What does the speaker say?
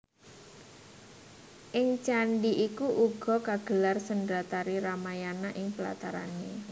Ing candhi iku uga kagelar sendratari Ramayana ing platarané